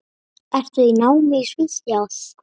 Ertu í námi í Svíþjóð?